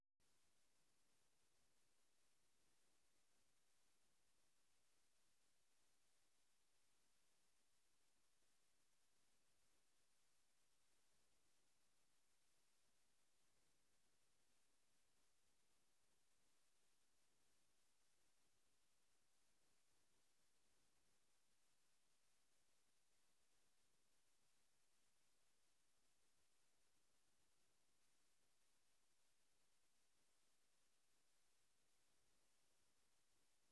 Empty audio file.